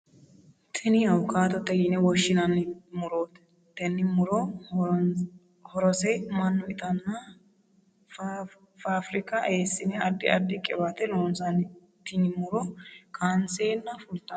Tinni awukaatote yinne woshinnanni murooti. Tenne muroti horose mannu itatenna faafirika eesine addi addi qiwaate loonsanni. Tinni muro kaanseenna fultanno.